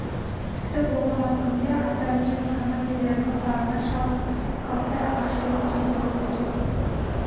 тіпті болмаған күнде ата үні командирлердің құлағына шалынып қалса ашуын келтіруі сөзсіз